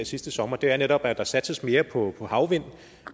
sidste sommer er netop at der satses mere på havvind og